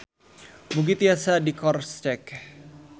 Mugi tiasa dikroscek.